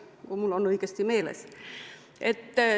Loodan, et mul on õigesti meeles.